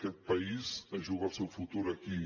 aquest país es juga el seu futur aquí